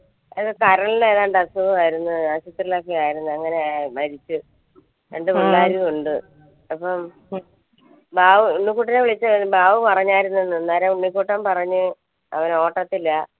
എന്തോ കരളിൻറെ ഏതാണ്ട് അസുഖയിരുന്നു ആശുപത്രിയിൽ ഒക്കെ ആയിരുന്നു അങ്ങനെയാ മരിച്ചത് രണ്ടു പിള്ളേരും ഉണ്ട് അപ്പം ബാബു ഉണ്ണി വിളിച്ചു ബാബു പറഞ്ഞയിരുന്നു എന്ന് ഉണ്ണി കുട്ടൻ പറഞ്ഞു അവൻ ഓട്ടത്തില